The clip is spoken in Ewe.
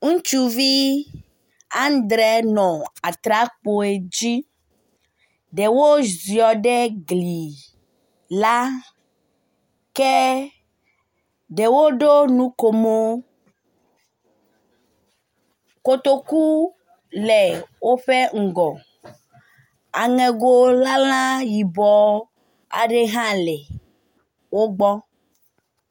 Ŋutsuvii andre nɔ atrakpoe dzi. Ɖewo ziɔ ɖe gli laa kee ɖewo ɖo nukomoo. Kotokuu le woƒe ŋgɔ. Aŋego lalã aɖe yibɔɔhã le wo gbɔ.